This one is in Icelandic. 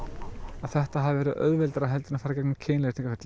að þetta hafi verið auðveldara en